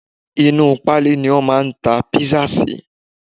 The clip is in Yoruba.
Inú u pálí ni a máa ń ta kpisa sí